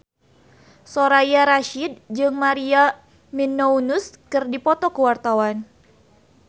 Soraya Rasyid jeung Maria Menounos keur dipoto ku wartawan